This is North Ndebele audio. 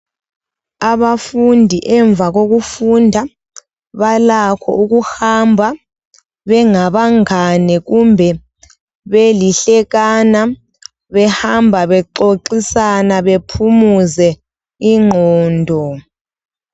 Abafundi ngemva kokufunda balakho ukuhamba bengabangani kumbe belihlekana behamba bexoxisana bephumuze ingqondo